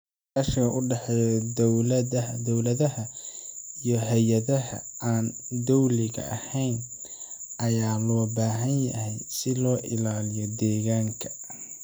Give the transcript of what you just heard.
Iskaashiga u dhexeeya dowladaha iyo hay'adaha aan dowliga ahayn ayaa loo baahan yahay si loo ilaaliyo deegaanka.